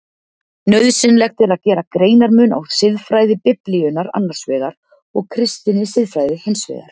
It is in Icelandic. Nauðsynlegt er að gera greinarmun á siðfræði Biblíunnar annars vegar og kristinni siðfræði hins vegar.